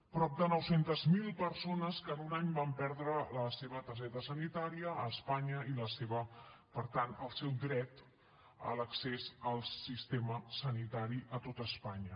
prop de nou cents miler persones que en un any van perdre la seva targeta sanitària a espanya i per tant el seu dret a l’accés al sistema sanitari a tot espanya